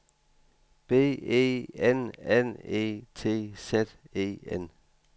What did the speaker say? B E N N E T Z E N